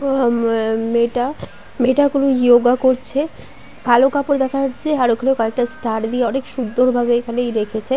অহমম আ মেয়েটা মেয়েটা কোনো ইওগা করছে কালো কাপড় দেখা যাচ্ছে । আর ঐখানে কয়েকটা ষ্টার দিয়ে অনেক সুন্দর ভাবে এইখানে ই রেখেছে।